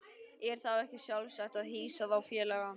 Er þá ekki sjálfsagt að hýsa þá félaga?